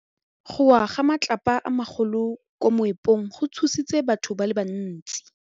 Go wa ga matlapa a magolo ko moepong go tshositse batho ba le bantsi.